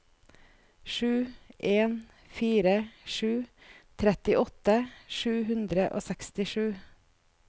sju en fire sju trettiåtte sju hundre og sekstisju